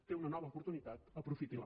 té una nova oportunitat aprofiti la